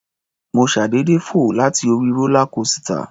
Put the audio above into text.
Mo ṣàdédé fò láti orí rólá kósità.